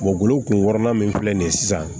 golo kun wɔɔrɔnan min filɛ nin ye sisan